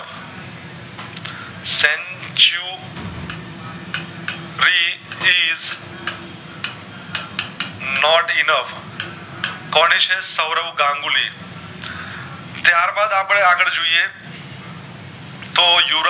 Not enough કોની છે સવરવ ગમબુલની ત્યાર બાદ આપડે આગળ જોયે તો